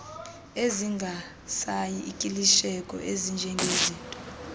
ezingarisay ikilishekiyo ezinjengezinto